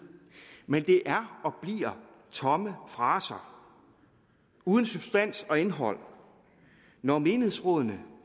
men det er og bliver tomme fraser uden substans og indhold når menighedsrådene